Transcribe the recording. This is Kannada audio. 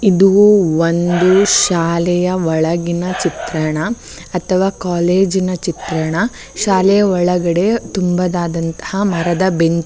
ಇದು ಒಂದು ಶಾಲೆಯ ಒಳಗಿನ ಚಿತ್ರಣ ಅಥವಾ ಕಾಲೇಜಿನ ಚಿತ್ರಣ ಶಾಲೆಯ ಒಳಗಡೆ ತುಂಬಾ ಆದಂತಹ ಮರಗಳ ಬೆಂಚು --